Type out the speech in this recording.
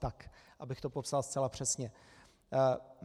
Tak, abych to popsal zcela přesně.